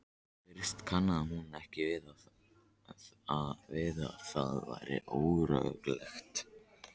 Í fyrstu kannaðist hún ekki við það og varð óróleg.